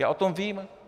Já o tom vím!